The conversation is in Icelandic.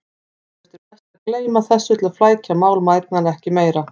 Eflaust er best að gleyma þessu til að flækja mál mæðgnanna ekki meira.